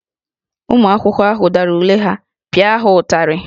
Ụmụ akwụkwọ ahụ dara ule ha, pịa ha ụtarị!